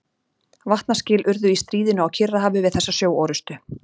Vatnaskil urðu í stríðinu á Kyrrahafi við þessa sjóorrustu.